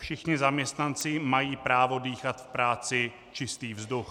Všichni zaměstnanci mají právo dýchat v práci čistý vzduch.